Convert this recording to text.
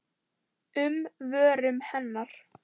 um vörum hennar.